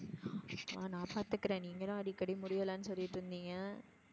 நான் பாத்துகிறேன். நீங்க தான் அடிக்கடி முடியலன்னு சொல்லிட்டு இருந்தீங்க?